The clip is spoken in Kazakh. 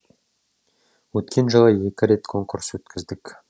өткен жылы екі рет конкурс өткіздік